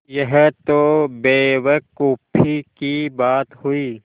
यह तो बेवकूफ़ी की बात हुई